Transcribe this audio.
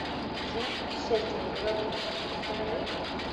жена путешественника во времени установи